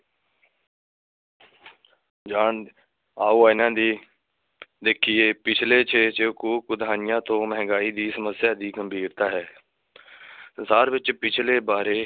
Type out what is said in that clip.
ਆਓ ਇਹਨਾ ਦੀ ਦੇਖੀਏ, ਪਿਛਲੇ ਤੋਂ ਮਹਿੰਗਾਈ ਦੀ ਸਮੱਸਿਆ ਦੀ ਗੰਭੀਰਤਾਂ ਹੈ ਸੰਸਾਰ ਵਿਚ ਪਿਛਲੇ ਬਾਰੇ